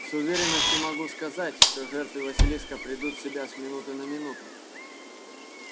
с уверенностью могу сказать что жертвы василиска придут в себя с минуты на минуту